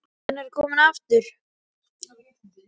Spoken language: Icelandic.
Hann er kominn aftur!